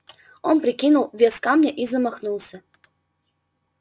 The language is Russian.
он прикинул вес камня и замахнулся